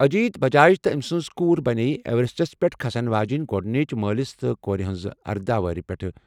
اجیت بَجاج تہٕ أمہِ سٕنٛز کوٗر بَنییہِ ایورسٹَس پٮ۪ٹھ کھسَن واجیٚنۍ گۄڈٕنِچ مٲلِس تہٕ کورِ ہِنٛز اَرداہ وَہرِ پٮ۪ٹھہٕ